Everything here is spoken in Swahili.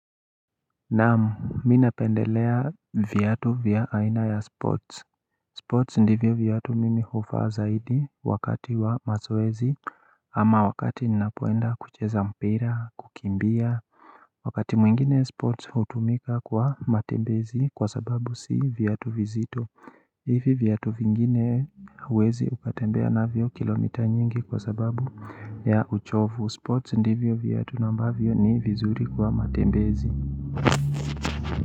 Naam mi napendelea viyatu vya aina ya sports Sports ndivyo viatu mimi hovaa zaidi wakati wa mazoezi ama wakati ninapoenda kucheza mpira kukimbia Wakati mwingine sports utumika kwa matembezi kwa sababu si viatu vizito hivi viatu vingine uwezi ukatembea navyyo kilomita nyingi kwa sababu ya uchovu Sports ndivyo viyatu na ambavyo ni vizuri kwa matembezi.